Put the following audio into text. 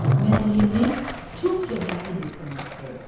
Müəllimlik çox şöhrətli bir sənətdir.